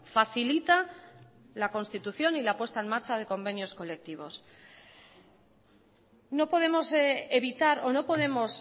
facilita la constitución y la puesta en marcha de convenios colectivos no podemos evitar o no podemos